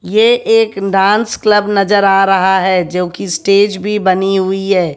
ये एक dance club नजर आ रहा है जो की स्टेज भी बनी हुई है।